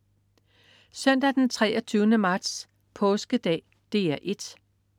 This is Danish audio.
Søndag den 23. marts. Påskedag - DR 1: